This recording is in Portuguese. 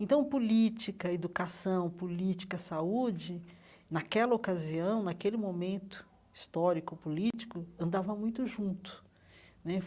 Então, política, educação, política, saúde, naquela ocasião, naquele momento histórico político, andava muito junto né.